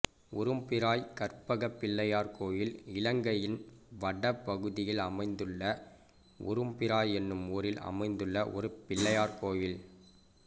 உரும்பிராய் கற்பகப் பிள்ளையார் கோயில் இலங்கையின் வட பகுதியில் அமைந்துள்ள உரும்பிராய் என்னும் ஊரில் அமைந்துள்ள ஒரு பிள்ளையார் கோயில்